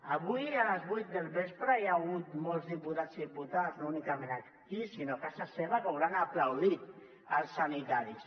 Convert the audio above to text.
avui a les vuit del vespre hi ha hagut molts diputats i diputades no únicament aquí sinó a casa seva que hauran aplaudit els sanitaris